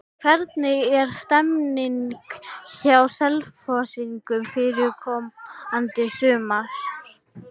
Hvernig er stemmingin hjá Selfyssingum fyrir komandi sumar?